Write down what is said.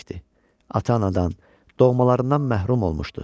Ata-anadan, doğmalarından məhrum olmuşdu.